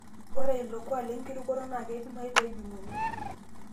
Ore ilo kuak lenkirutoto naa keidimayu pee ejung'uni.